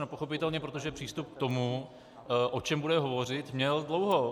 No pochopitelně, protože přístup k tomu, o čem bude hovořit, měl dlouho.